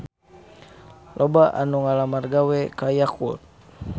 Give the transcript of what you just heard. Loba anu ngalamar gawe ka Yakult